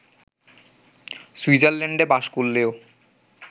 সুইজারল্যান্ডে বাস করলেও